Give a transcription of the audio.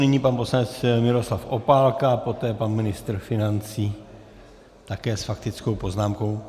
Nyní pan poslanec Miroslav Opálka, poté pan ministr financí, také s faktickou poznámkou.